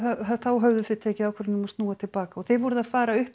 höfðuð tekið ákvörðun um að snúa til baka og þið voruð að fara upp